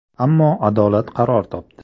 Ammo adolat qaror topdi.